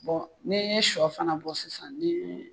Bon ne ye sɔ fana bɔ sisan